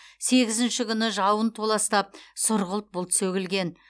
сегізінші күні жауын толастап сұрғылт бұлт сөгілген